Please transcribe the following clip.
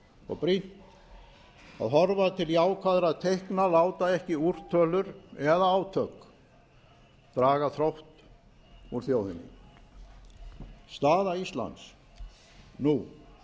og brýnt að horfa til jákvæðra teikna láta ekki úrtölur eða átök draga þrótt úr þjóðinni staða íslands nú